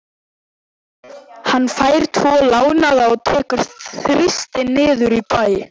Hann fær tvo lánaða og tekur Þristinn niður í bæ.